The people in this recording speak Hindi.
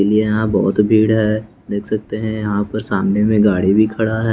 देखिए यहाँ बहुत भीड़ है देख सकते हैं यहाँ पर सामने में गाड़ी भी खड़ा है।